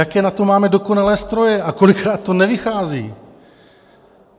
Jaké na to máme dokonalé stroje a kolikrát to nevychází.